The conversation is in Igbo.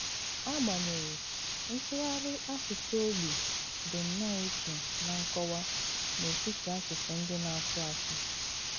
Ágbanyeghị, ntùghàrị àsùsù ogbi dị nnọọ ìchè na nkọ̀wà n’etiti àsùsù ndị à na-asù.